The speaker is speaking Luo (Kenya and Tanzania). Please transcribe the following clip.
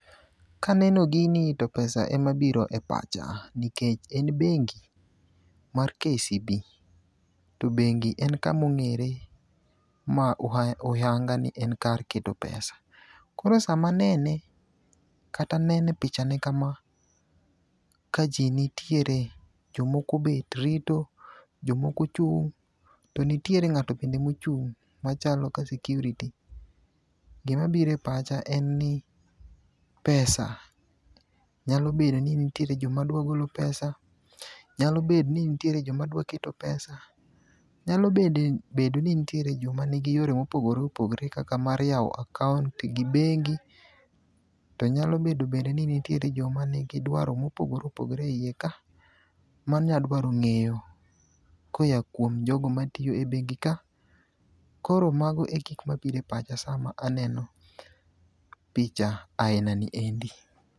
kaneno gini to pesa ema biro e pacha nikech e bengi mar kcb to bengi en kama ong'ere huyanga ni en kar keto pesa koro sama anene kata nene pichane kama ka ji nitiere jomoko obet rito jomoko ochung to nitiere ngato ende mochung' machalo ka security, gima biro e pacha en ni pesa, nyalo bedo ni nitie joma dwaro golo pesa nyalo bedo ni nitiere joma dwa keto pesa, nyalo bedo ni nitie joma ni gi yore mopogore opogore kaka mar yawo account gi bengi to nyalo bedo bende ni nitiere joma ni gi dwaro mopogore opogore e iye ka manyalo dwaro ng'eyo koya kuom jogo matiyo e bengi ka koro mago e gik mabiro e pacha sama aneno picha ni endi